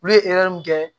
Olu ye mun kɛ